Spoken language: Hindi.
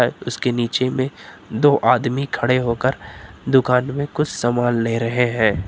इसके नीचे में दो आदमी खड़े होकर दुकान में कुछ सामान ले रहे हैं।